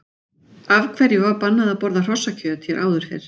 Af hverju var bannað að borða hrossakjöt hér áður fyrr?